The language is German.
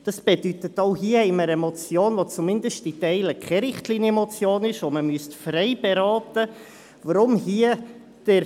Das bedeutet, dass wir auch hier eine Motion haben, die zumindest zu Teilen keine Richtlinienmotion ist, sodass man sie frei beraten müsste.